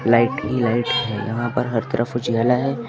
Light ही light है यहां पर हर तरफ उजाला है।